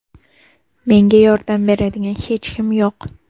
Menga yordam beradigan hech kim yo‘q.